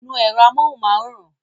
Nu èrò amóhunmáwòrán!